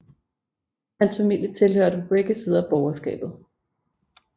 Hans familie tilhørte på begge sider borgerskabet